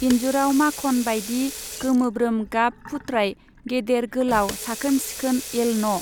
इन्जुराव माखन बाइदि गोमोब्रोम गाब फुत्राय गेदेर गोलाव साखोन सिखोन एलन'।